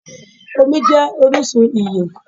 Omí jé orísun ìyè